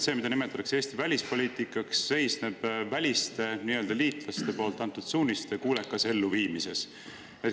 See, mida nimetatakse Eesti välispoliitikaks, sisuliselt seisneb väliste liitlaste antud suuniste kuulekas elluviimises.